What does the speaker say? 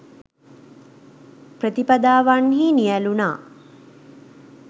ප්‍රතිපදාවන්හි නියැලුණා